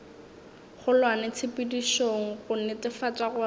kgolwane tshepedišong go netefatša gore